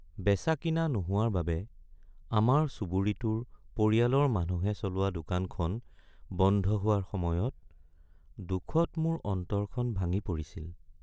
বেচা-কিনা নোহোৱাৰ বাবে আমাৰ চুবুৰীটোৰ পৰিয়ালৰ মানুহে চলোৱা দোকানখন বন্ধ হোৱাৰ সময়ত দুখত মোৰ অন্তৰখন ভাঙি পৰিছিল।